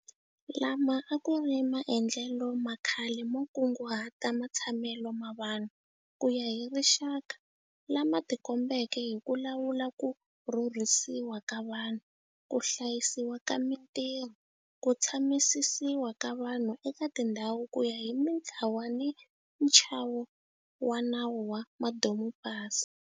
Lama a ku r i maendlelo ma khale mo kunguhata matshamelo ma vanhu ku ya hi rixaka lama tikombeke hi ku lawula ku rhurhisiwa ka vanhu, ku hlayisiwa ka mitirho, ku tshamisisiwa ka vanhu eka tindhawu ku ya hi mitlawa ni nchavo wa nawu wa madomupasi.